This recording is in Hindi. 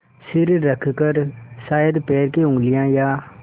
सिर रखकर शायद पैर की उँगलियाँ या